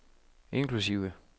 inklusive